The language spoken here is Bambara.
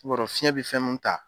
I b'a dɔ fiɲɛ bi fɛn min ta